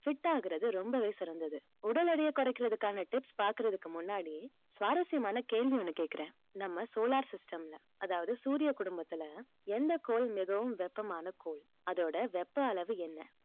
fit ஆகுறது ரொம்பவே சிறந்தது உடல் எடையை குறைக்கிறதுக்கான tips பாக்குறதுக்கு முன்னாடி சுவாரசியமான கேள்வி ஒண்ணு கேக்குறேன் நம்ம solar system ல அதாவது சூரிய குடும்பத்துல எந்த கோள் மிகவும் வெப்பமான கோள் அதோட வெப்ப அளவு என்ன